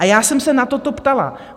A já jsem se na toto ptala.